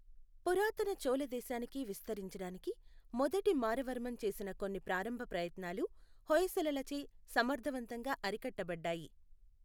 పురాతన చోళ దేశానికి విస్తరించడానికి మొదటి మారవర్మన్ చేసిన కొన్ని ప్రారంభ ప్రయత్నాలు హొయసలలచే సమర్థవంతంగా అరికట్టబడ్డాయి.